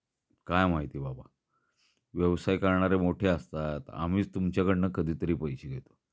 काय माहिती बाबा. व्यवसाय करणारे मोठे असतात. आम्हीच तुमच्या कडनं कधीतरी पैसे घेतो.